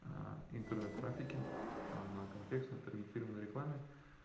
интернет трафике там на контекстной таргетированной рекламе